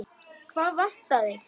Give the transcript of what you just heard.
Hvað vantar þig?